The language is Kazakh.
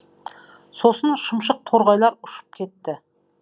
сосын шымшық торғайлар ұшып жетті